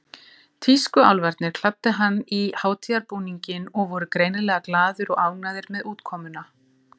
Tískuálfarnir kláddu hann í hátíðarbúninginn og voru greinilega glaðir og ánægðir með útkomuna.